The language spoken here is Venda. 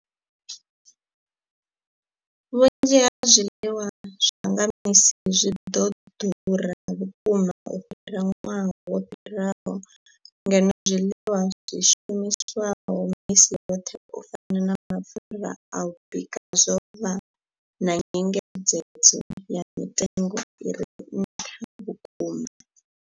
Vhunzhi ha zwiḽiwa zwa nga misi zwi vho ḓura vhukuma u fhira ṅwaha wo fhiraho, ngeno zwiḽiwa zwi shumiswaho misi yoṱhe u fana na mapfhura a u bika zwo vha na nyengedzedzo ya mitengo i re nṱha vhukuma.